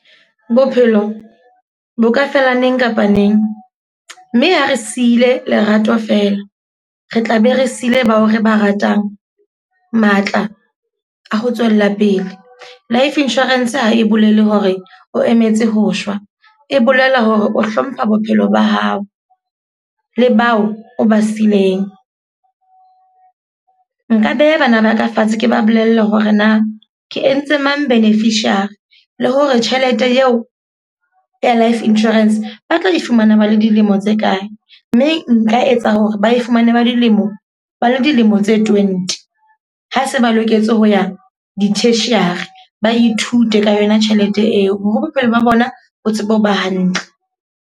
Bophelo, bo ka fela neng kapa neng. Mme ha re siile lerato fela, re tla be re siile bao re ba ratang matla a ho tswella pele. Life insurance ha e bolele hore o emetse ho shwa. E bolela hore o hlompha bophelo ba hao le bao o ba sileng. Nka beha banana ka fatshe ke ba bolelle hore na ke entse mang beneficiary. Le hore tjhelete eo ya life insurance ba tlo ifumana ba le dilemo tse kae. Mme nka etsa hore ba e fumane ba dilemo ba le dilemo tse twenty. Ha se ba loketse ho ya di-tertiary. Ba ithute ka yona tjhelete eo. Ho re bophelo ba bona bo tsebe ho ba hantle.